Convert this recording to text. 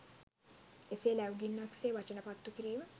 එසේ ලැව් ගින්නක් සේ වචන පත්තු කිරීම